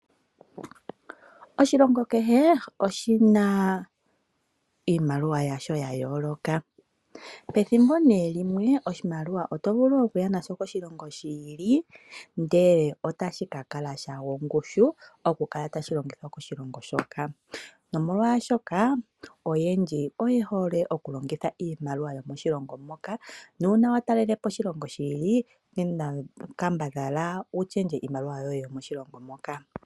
Oshilongo kehe oshina iimaliwa yasho ya yooloka, pethimbo nee limwe oshimaliwa otovulu okuya nasho koshilongo shi ili ndele otashi kakala shagwa ongushu okukala tashi longo moshilongo moka .nomolwaashoka uuna totalelepo oshilongo shi ili kambadhala wu shendje iimaliwa